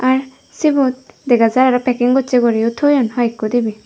r sibut dega jai aro packing gochi guri o thoyun hoi ekko dibi.